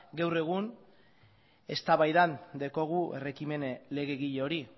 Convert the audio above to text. gaur egun eztabaidan daukagu herri ekimen legegile hori